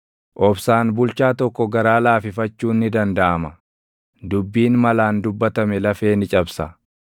Obsaan bulchaa tokko garaa laafifachuun ni dandaʼama; dubbiin malaan dubbatame lafee ni cabsa.